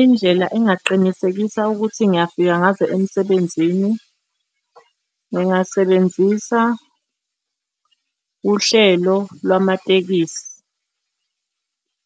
Indlela engaqinisekisa ukuthi ngiyafika ngazo emsebenzini, ngingasebenzisa uhlelo lwamatekisi